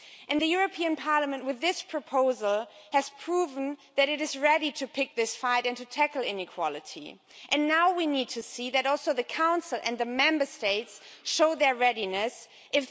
The European Parliament, with this proposal, has proved that it is ready to pick this fight and to tackle inequality, and now we need to see the Council and the Member States, too, showing their readiness to do that.